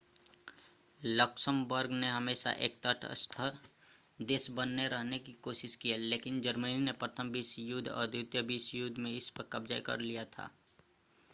Luxembourg ने हमेशा एक तटस्थ देश बने रहने की कोशिश की है लेकिन जर्मनी ने प्रथम विश्व युद्ध और द्वितीय विश्व युद्ध में इस पर कब्ज़ा कर लिया था